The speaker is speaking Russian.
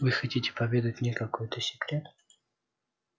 вы хотите поведать мне какой-то секрет